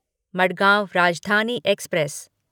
Madgaon Rajdhani express